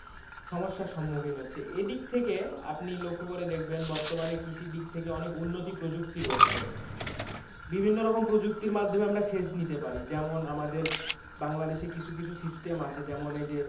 সমস্যার সম্মূখীন হচ্ছে এদিক থেকে আপনি লক্ষ্য করে দেখবেন বর্তমানে কৃষি দিক থেকে অনেক উন্নতি প্রযুক্তি রয়েছে, বিভিন্ন প্রযুক্তির মাধ্যমে আমরা সেচ নিতে পারি যেমন আমাদের বাংলাদেশে কিছু কিছু system আছে, যেমন এই যে,